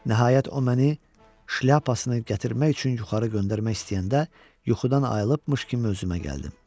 Nəhayət o məni şlyapasını gətirmək üçün yuxarı göndərmək istəyəndə yuxudan ayrılıbmış kimi özümə gəldim.